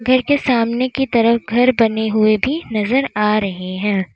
एक ये सामने की तरफ घर बने हुए भी नजर आ रहे हैं।